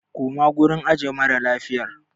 Koma gurin ajiye mara lafiyar!